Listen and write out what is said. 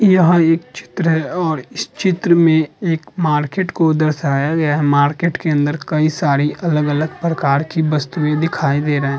यह एक चित्र है और इस चित्र में एक मार्केट को दर्शाया गया है। मार्केट के अंदर कई सारी अलग- अलग प्रकार की वस्तुएं दिखाई दे रहे है।